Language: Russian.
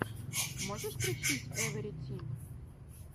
можешь включить эвэрфри тим